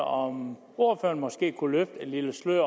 om ordføreren måske kunne løfte lidt af sløret